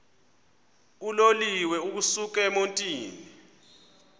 uloliwe ukusuk emontini